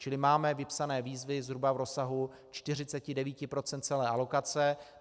Čili máme vypsané výzvy zhruba v rozsahu 49 % celé alokace.